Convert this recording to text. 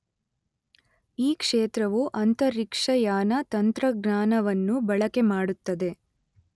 ಈ ಕ್ಷೇತ್ರವು ಅಂತರಿಕ್ಷಯಾನ ತಂತ್ರಜ್ಞಾನವನ್ನು ಬಳಕೆಮಾಡುತ್ತದೆ.